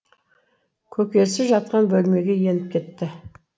көкесі жатқан бөлмеге еніп кетті